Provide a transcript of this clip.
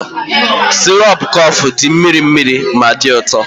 sirop coffex dị mịrị mịrị ma dị ụtọ